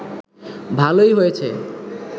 ভালোই হয়েছে